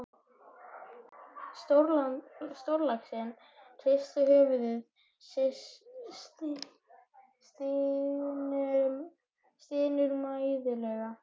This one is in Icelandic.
Stórlaxinn hristir höfuðið og stynur mæðulega.